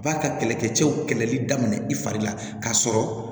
Ba ka kɛlɛkɛcɛw kɛlɛli daminɛ i fari la k'a sɔrɔ